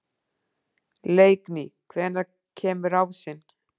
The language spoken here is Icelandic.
Leikný, hvenær kemur ásinn?